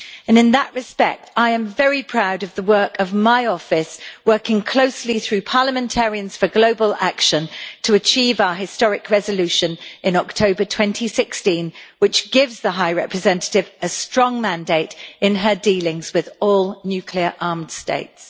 In that respect, I am very proud of the work of my office, working closely through Parliamentarians for Global Action to achieve our historic resolution in October 2016, which gives the High Representative a strong mandate in her dealings with all nuclear armed states.